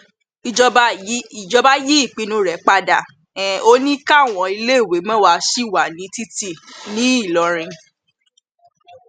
ìjọba yí ìpinnu rẹ padà um ó ní káwọn iléèwé mẹwàá ṣì wà ní títì um ńìlọrin